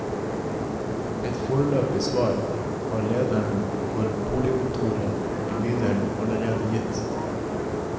Et foreløpig svar har lederen for boligkontoret i bydelen allerede gitt.